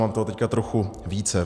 Mám toho teď trochu více.